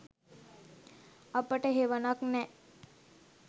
අපට හෙවනක් නෑ.